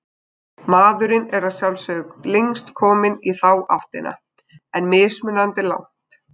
Maðurinn er að sjálfsögðu lengst kominn í þá áttina, en mismunandi langt.